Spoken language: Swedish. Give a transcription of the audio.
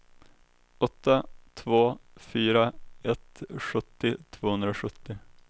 åtta två fyra ett sjuttio tvåhundrasjuttio